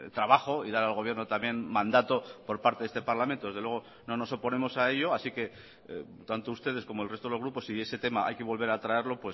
trabajo y dar al gobierno también mandato por parte de este parlamento desde luego no nos oponemos a ello así que tanto ustedes como el resto de los grupos si ese tema hay que volver a traerlo